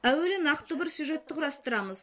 әуелі нақты бір сюжетті құрастырамыз